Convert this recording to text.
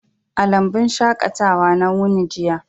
A lambun shaƙatawa na wuni jiya.